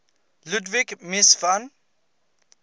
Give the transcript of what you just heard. ludwig mies van